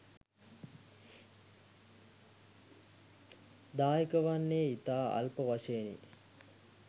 දායක වන්නේ ඉතා අල්ප වශයෙනි